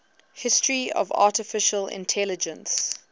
history of artificial intelligence